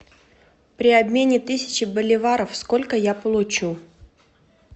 при обмене тысячи боливаров сколько я получу